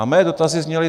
A mé dotazy zněly.